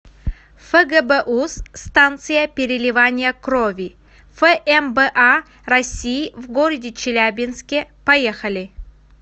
фгбуз станция переливания крови фмба россии в г челябинске поехали